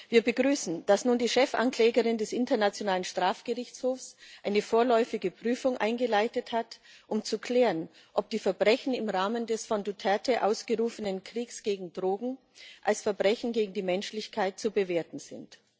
Wir begrüßen, dass nun die Chefanklägerin des Internationalen Strafgerichtshofs eine vorläufige Prüfung eingeleitet hat, um zu klären, ob die Verbrechen im Rahmen des von Duterte ausgerufenen Kriegs gegen Drogen als Verbrechen gegen die Menschlichkeit zu bewerten sind.